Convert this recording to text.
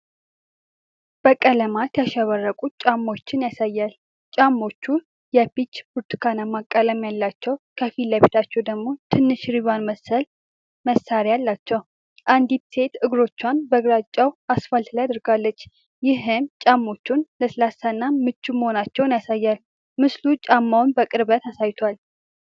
በቀለማት ያሸበረቁ ጫማዎችን ያሳያል። ጫማዎቹ የፒች-ብርቱካናማ ቀለም ያላቸው፤ ከፊት ለፊታቸው ደግሞ ትንሽ ሪባን መሰል ማሰሪያ አላቸው። አንዲት ሴት እግሮቿን በግራጫው አስፋልት ላይ አድርጋለች፤ ይህም ጫማዎቹ ለስላሳና ምቹ መሆናቸውን ያሳያል። ምስሉ ጫማውን በቅርበት አሳይቷል።